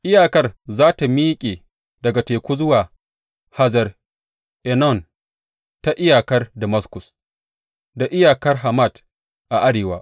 Iyakar za tă miƙe daga teku zuwa Hazar Enon, ta iyakar Damaskus, da iyakar Hamat a arewa.